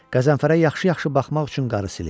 Qəzənfərə yaxşı-yaxşı baxmaq üçün qarı silir.